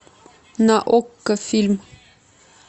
на окко фильм